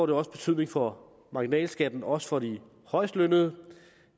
det også betydning for marginalskatten også for de højest lønnede